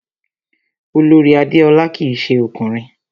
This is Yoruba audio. Olorì Adéọlá kìí se ọkùnrin